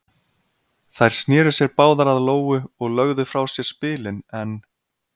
Þær sneru sér báðar að Lóu og lögðu frá sér spilin en